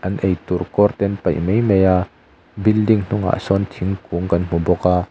an eitur kawr te an paih mai maia building hnungah sawn thingkung kan hmuh bawk a.